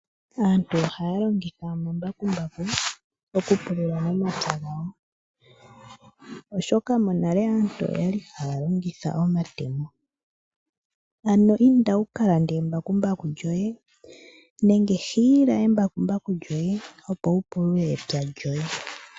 Aantu ohaya longitha omambakumbaku okupulula omapya gawo oshoka monale aantu oyali haya longitha omatemo. Inda wu ka lande embakumbaku lyoye nenge hiila embakumbaku lyoye opo wupulule epya lyoye.